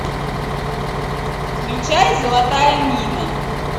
включай золотая мина